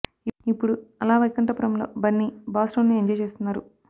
ఇప్పుడు Ala Vaikunthapurramuloo Bunny boss role ను enjoy చేస్తున్నారు